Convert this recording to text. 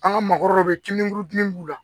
An ka maakɔrɔw bɛ kilen kuru dimi b'u la